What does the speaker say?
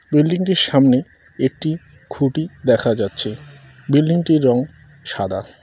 বিল্ডিংটির সামনে একটি খুঁটি দেখা যাচ্ছে বিল্ডিংটির রঙ সাদা।